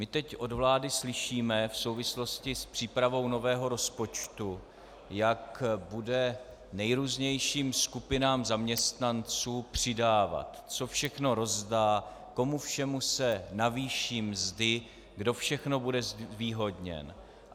My teď od vlády slyšíme v souvislosti s přípravou nového rozpočtu, jak bude nejrůznějším skupinám zaměstnancům přidávat, co všechno rozdá, komu všemu se navýší mzdy, kdo všechno bude zvýhodněn.